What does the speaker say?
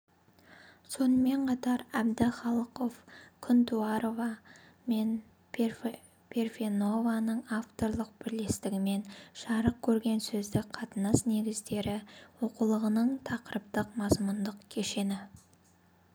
сонымен қатар әбдіхалықов күнтуарова мен парфенованың авторлық бірлестігімен жарық көрген сөздік қатынас негіздері оқулығының тақырыптық-мазмұндық кешені